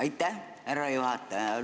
Aitäh, härra juhataja!